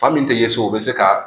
Fan min tɛ ye so o bɛ se ka